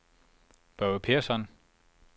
Børge Persson